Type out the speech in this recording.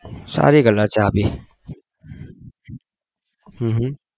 હમમ હમમ